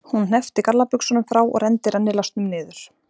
Hún hneppti gallabuxunum frá og renndi rennilásnum niður.